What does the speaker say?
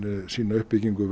sína uppbyggingu